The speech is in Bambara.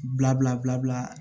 Bila bila